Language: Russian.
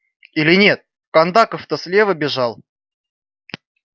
или нет кондаков то слева бежал